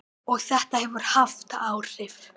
Og þetta hefur haft áhrif.